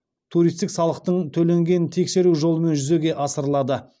туристік салықтың төленгенін тексеру жолымен жүзеге асырылады